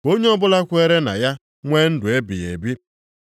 Ka onye ọbụla kwere na ya nwee ndụ ebighị ebi.”